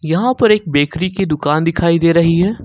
यहां पर एक बेकरी की दुकान दिखाई दे रही है।